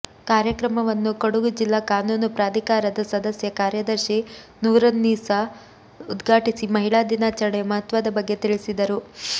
ಕಾರ್ಯಕ್ರಮವನ್ನು ಕೊಡಗು ಜಿಲ್ಲಾ ಕಾನೂನು ಪ್ರಾಧಿಕಾರದ ಸದಸ್ಯ ಕಾರ್ಯದರ್ಶಿ ನೂರುನ್ನೀಸ ಉದ್ಘಾಟಿಸಿ ಮಹಿಳಾ ದಿನಾಚರಣೆಯ ಮಹತ್ವದ ಬಗ್ಗೆ ತಿಳಿಸಿದರು